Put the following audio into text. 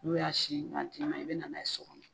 N'o y'a sin ka d'i ma, i bɛna n'a ye so